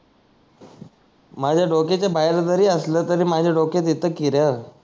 माझ्या डोक्याच्या बाहेर जारी असल तरी माझ्या डोक्यात येत की र